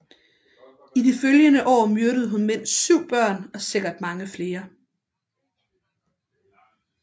I de følgende år myrdede hun mindst syv børn og sikkert mange flere